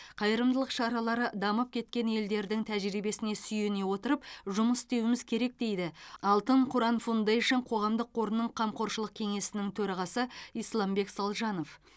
қайырымдылық шаралары дамып кеткен елдердің тәжірибесіне сүйене отырып жұмыс істеуіміз керек дейді алтын қыран фаундэйшн қоғамдық қорының қамқоршылық кеңесінің төрағасы исламбек салжанов